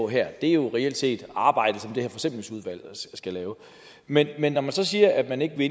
her er reelt set arbejdet som det her forsimplingsudvalg skal lave men når man så siger at man ikke vil